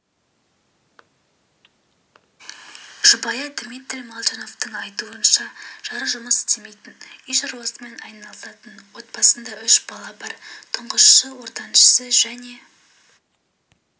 жұбайы дмитрий молчановтың айтуынша жары жұмыс істемейтін үй шаруасымен айналысатын отбасында үш бала бар тұңғышы ортаншысы және